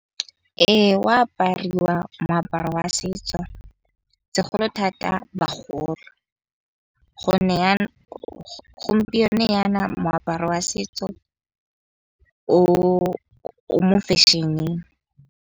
Ee, o a apariwa moaparo wa setso, segolo thata bagolo. Gompieno yana moaparo wa setso o mo fashion-eng.